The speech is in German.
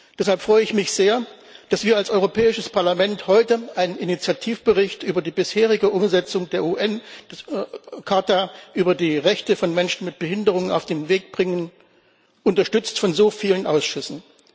Deshalb freue ich mich sehr, dass wir als Europäisches Parlament heute einen Initiativbericht über die bisherige Umsetzung des UN Übereinkommens über die Rechte von Menschen mit Behinderungen auf den Weg bringen, unterstützt von so vielen Ausschüssen.